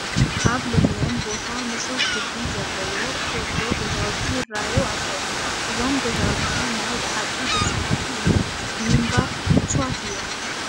ኣብ ለምለም ቦታ ንፁህ ግቢ ዘለሎዎ ጎጆ ገዛውኢ ይርአዩ ኣለዉ፡፡ እዞም ገዛውቲ ናይ በሓቂ ደስ በሃልቲ እዮም፡፡ ንምንባር ምችዋት እዮም፡፡